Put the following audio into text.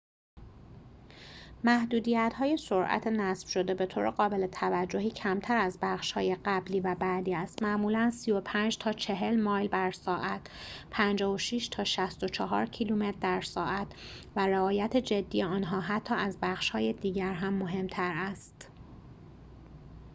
محدودیت‌های سرعت نصب‌شده بطور قابل توجهی کمتر از بخش‌های قبلی و بعدی است - معمولاً 35 تا 40 مایل بر ساعت 56 تا 64 کیلومتر در ساعت - و رعایت جدی آنها حتی از بخش‌های دیگر هم مهم‌تر است